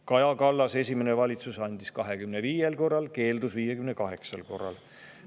Kaja Kallase esimene valitsus andis selle 25 korral ja keeldus 58 korral.